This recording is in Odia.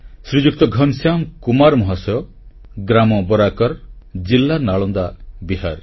ଶ୍ରୀଯୁକ୍ତ ଘନଶ୍ୟାମ କୁମାର ମହାଶୟ ଗ୍ରାମବରାକର୍ ଜିଲ୍ଲାନାଳନ୍ଦା ବିହାର